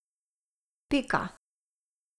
Pika.